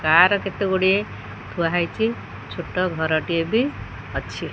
Car କେତେ ଗୁଡ଼ିଏ ଥୁଆ ହେଇଚି ଛୋଟ ଘରଟିଏ ବି ଅଛି।